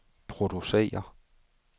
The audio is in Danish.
producere